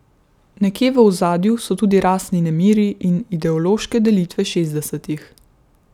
Nekje v ozadju so tudi rasni nemiri in ideološke delitve šestdesetih.